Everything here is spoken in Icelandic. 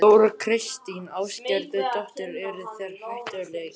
Þóra Kristín Ásgeirsdóttir: Eru þeir hættulegir?